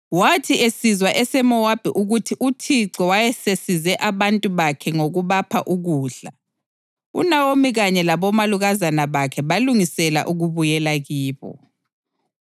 Wathi esizwa eseMowabi ukuthi uThixo wayesesize abantu bakhe ngokubapha ukudla, uNawomi kanye labomalukazana bakhe balungisela ukubuyela kibo.